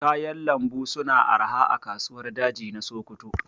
Kayan lambu su na arha a kasuwar daji na Sokoto